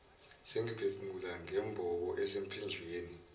sengiphefumula ngembobo esemphinjeni